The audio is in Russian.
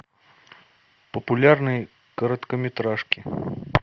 популярные короткометражки